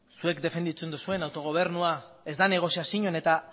zuek defenditzen duzuen autogobernua ez da negoziazio eta